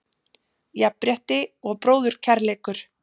Jafnrétti og bróðurkærleikur.